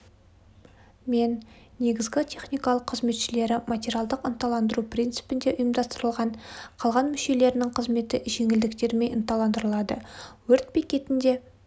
мен негізгі техникалық қызметшілері материалдық ынталандыру принципінде ұйымдастырылған қалған мүшелерінің қызметі жеңілдіктермен ынталандырылады өрт бекетінде